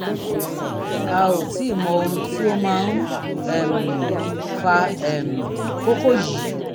a ò tíì mọ ohun tó máa ń um fa um kókó yìí